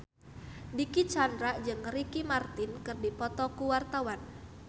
Dicky Chandra jeung Ricky Martin keur dipoto ku wartawan